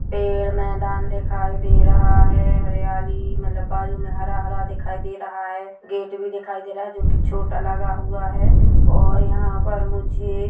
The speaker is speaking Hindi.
पेड़ मैदान दिखाई दे रहा है हरियाली मतलब बाजू में हरा-हरा दिखाई दे रहा गेट भी दिखाई दे रहा है जो कि छोटा लगा हुआ है और यहाँ पर मुझे--